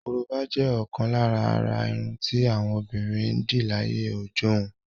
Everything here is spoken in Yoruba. Korobá jẹ́ ọ̀kan lára àrà irun tí àwọn obìnrin ń dì láyé ọjọ́hun.